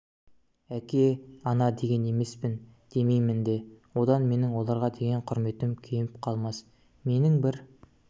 әке ана деген емеспін демеймін де одан менің оларға деген құрметім кеміп қалмас менің бір